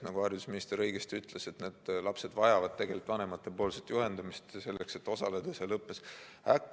Nagu haridusminister õigesti ütles, need lapsed vajavad vanemate juhendamist, et selles õppes osaleda.